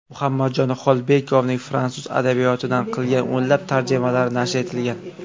Muhammadjon Xolbekovning fransuz adabiyotidan qilgan o‘nlab tarjimalari nashr etilgan.